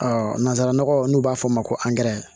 nanzararaw n'u b'a fɔ o ma ko